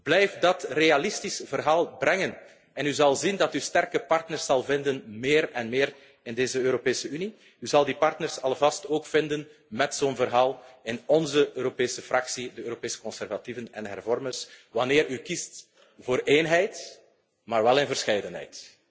houd stand! Blijf dat realistische verhaal brengen en u zult zien dat u sterke partners zult vinden, meer en meer in deze Europese Unie. U zult die partners alvast ook vinden met zo'n verhaal in onze Europese fractie, de Europese conservatieven en hervormers, wanneer u kiest voor eenheid, maar wel in verscheidenheid.